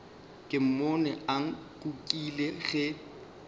ke mmone a nkukile ge